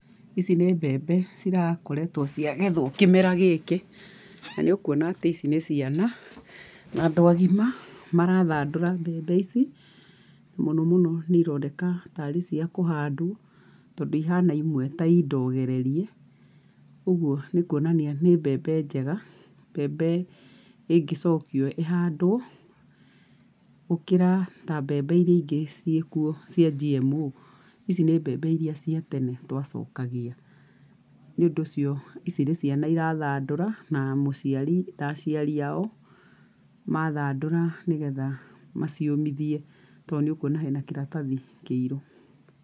Ici nĩ mbembe cirakoretwo ciagetwo kĩmera gĩkĩ, na nĩ ũkuona atĩ ici nĩ ciana, na andũ agima marathandũra mbembe ici, mũnomũno nĩironeka tarĩ cia kũhandwo, tondũ ihana imwe ta i ndogererie, ũguo nĩkuonania nĩ mbembe njega, mbembe ĩngĩcokio ĩhandwo, gũkĩra ta mbembe iria igĩ ciĩkwo cia GMO. Ici nĩ mbembe iria cia tene twacokagia nĩũndũ ũcio, ici nĩ ciana cĩrathandũra, na mũciari, na aciari ao, mathandũra nĩgetha maciũmithie, to nĩũkuona hena kĩratathi kĩirũ.